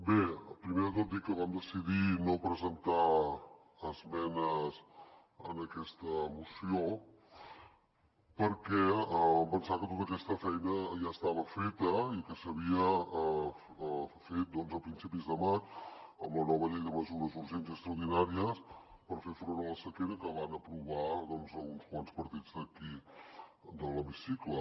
bé primer de tot dir que vam decidir no presentar esmenes en aquesta moció perquè vam pensar que tota aquesta feina ja estava feta i que s’havia fet a principis de maig amb la nova llei de mesures urgents i extraordinàries per fer front a la sequera que van aprovar uns quants partits d’aquí de l’hemicicle